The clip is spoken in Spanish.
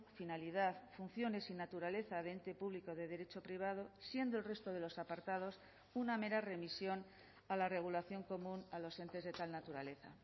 finalidad funciones y naturaleza de ente público de derecho privado siendo el resto de los apartados una mera remisión a la regulación común a los entes de tal naturaleza